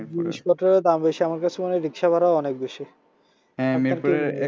আমার কাছে মনে হয় রিকশা ভাড়াও অনেক বেশি